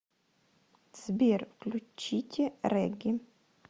сбер включите регги